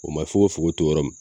O ma fokofoko to yɔrɔ min